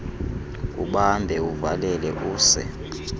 ubambe uvalele use